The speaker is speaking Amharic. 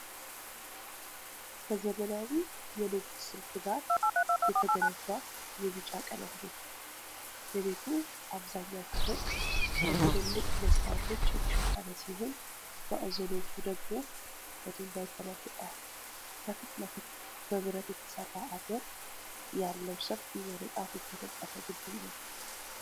ከዘመናዊ የንድፍ ስልት ጋር የተገነባ የቢጫ ቀለም ቤት ነው። የቤቱ አብዛኛው ክፍል በትልልቅ መስታወቶች የተሸፈነ ሲሆን፣ ማዕዘኖቹ ደግሞ በድንጋይ ተለብጠዋል። ከፊት ለፊቱ በብረት የተሰራ አጥር ያለው ሰፊ በንጣፍ የተነጠፈ ግቢ ነው።